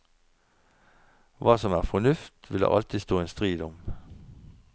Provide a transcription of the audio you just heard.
Hva som er fornuft, vil det alltid stå en strid om.